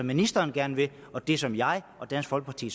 ministeren gerne vil og det som jeg og dansk folkeparti